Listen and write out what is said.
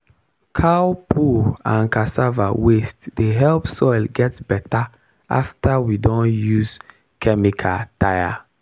cow poo and cassava waste dey help soil get better after we don use chemical tire.